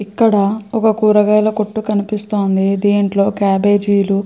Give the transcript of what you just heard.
ఇక్కడ ఒక కూరగాయల కొట్టు కనిపిస్తోంది దీంట్లో కేబేజీలు --